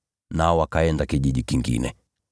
nao wakaenda kijiji kingine.